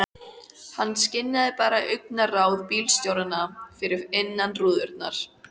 Hann skynjaði bara augnaráð bílstjóranna fyrir innan rúðurnar.